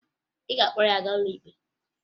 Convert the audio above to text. Ị ga-akpọrọ ya gaa n'ụlọ ikpe?